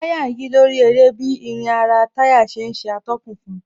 Táyà ń yí lórí eré bí irin ara táyà ṣe ń ṣe atọ́kùn fun